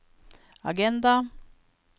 agenda